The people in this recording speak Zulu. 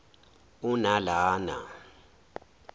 unalana